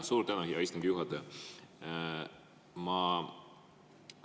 Suur tänu, hea istungi juhataja!